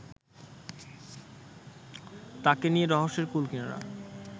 তাঁকে নিয়ে রহস্যের কুলকিনারা